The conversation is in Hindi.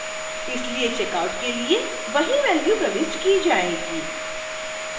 इसलिए checkout के लिए वही value प्रविष्ट की जाएगी